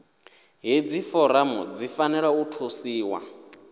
hedzi foramu dzi fanela u thusiwa